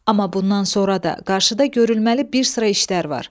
Amma bundan sonra da qarşıda görülməli bir sıra işlər var.